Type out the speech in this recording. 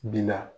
Bi la